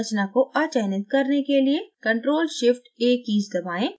संरचना को अचयनित करने के लिए ctrl + shift + a कीज़ दबाएं